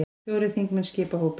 Fjórir þingmenn skipa hópinn.